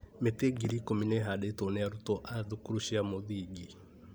Mĩtĩ ngiri ikũmi nĩ ĩhandĩtwo nĩ arutwo a thukuru cia mũthingi